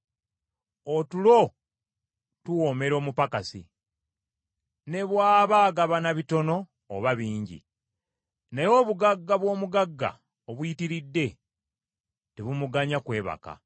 Otulo tuwoomera omupakasi ne bw’aba agabana bitono oba bingi. Naye obugagga bw’omugagga obuyitiridde, tebumuganya kwebaka.